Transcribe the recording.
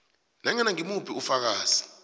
nanyana ngimuphi ufakazi